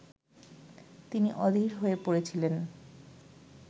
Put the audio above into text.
তিনি অধীর হয়ে পড়েছিলেন